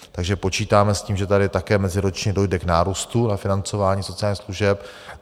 Takže počítáme s tím, že tady také meziročně dojde k nárůstu ve financování sociálních služeb.